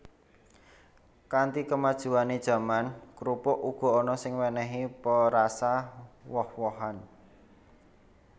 Kanthi kemajuané jaman krupuk uga ana sing wènèhi perasa woh wohan